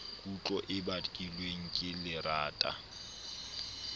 kutlo e bakilweng ke lerata